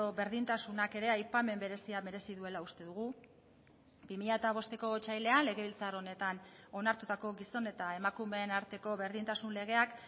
berdintasunak ere aipamen berezia merezi duela uste dugu bi mila bosteko otsailean legebiltzar honetan onartutako gizon eta emakumeen arteko berdintasun legeak